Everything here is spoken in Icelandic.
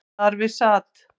Þar við sat